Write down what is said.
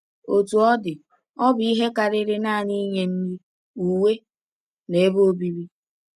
Otú ọ dị, ọ bụ ihe karịrị nanị inye nri, uwe na ebe obibi.